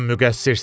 Sən müqəssirsən.